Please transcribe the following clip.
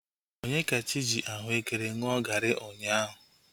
Onyekachi ji ahuekere ṅụọ gari ụnyaahụ